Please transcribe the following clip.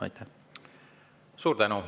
Suur tänu!